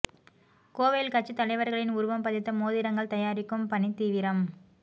கோவையில் கட்சித் தலைவர்களின் உருவம் பதித்த மோதிரங்கள் தயாரிக்கும் பணி தீவிரம்